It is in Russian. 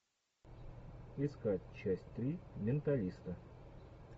искать часть три менталиста